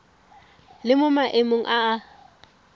le mo maemong a a